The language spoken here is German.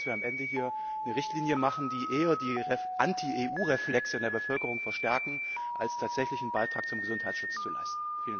Ich glaube, dass wir am Ende hier eine Richtlinie machen, die eher die Anti EU Reflexe in der Bevölkerung verstärkt, als tatsächlich einen Beitrag zum Gesundheitsschutz zu leisten.